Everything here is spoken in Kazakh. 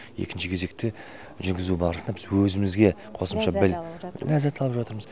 екінші кезекте жүргізу барысында біз өзімізге қосымша былай ләззат алып жатырмыз